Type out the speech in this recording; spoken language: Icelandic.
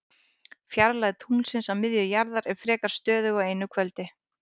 Fjarlægð tunglsins að miðju jarðar er frekar stöðug á einu kvöldi.